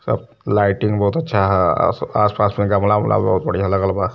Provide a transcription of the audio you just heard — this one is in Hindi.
सब लाइटिंग बहुत अच्छा ह आस पास में गमला वमला बहुत बढ़िया लगल बा।